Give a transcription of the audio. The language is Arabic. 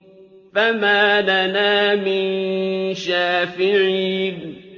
فَمَا لَنَا مِن شَافِعِينَ